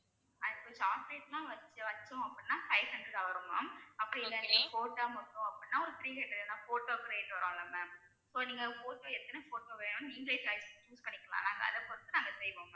chocolates எல்லாம் வச்சோம் வச்சோம் அப்படின்னா five hundred வரும் ma'am அப்படி இல்லைன்னா photo மட்டும் அப்படின்னா ஒரு three hundred ஏன்னா photo க்கு rate வரும்ல ma'am so நீங்க photo எத்தனை photo வேணும்ன்னு நீங்களே select பண்ணிக்கலாம் ma'am அதைப் பொறுத்து நாங்க செய்வோம் ma'am